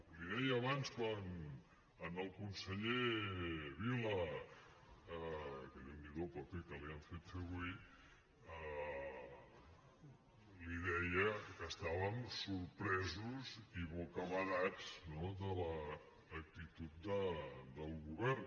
l’hi deia abans al conseller vila que déu n’hi do el paper que li han fet fer avui li deia que estàvem sorpresos i bocabadats no de l’actitud del govern